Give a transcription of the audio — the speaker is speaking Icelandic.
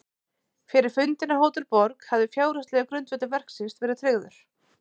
Fyrir fundinn á Hótel Borg hafði fjárhagslegur grundvöllur verksins verið tryggður.